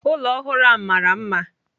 Ụlọ ọhụrụ ahụ mara mma.